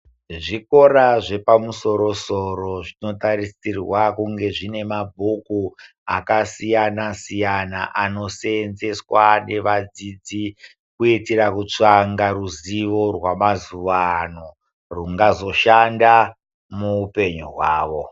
Zvikora zvepamusoro soro zvinotarisirwa kunga zvine mabhuku akasiyana siyana anosenzeswa nevadzidzi kuitira kutsvanga ruzivo ramazuano rungazoshanda mupenyu hwavo.